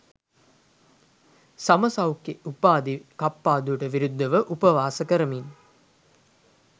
සම සෞඛ්‍ය උපාධි කප්පාදුවට විරුද්ධව උපවාස කරමින්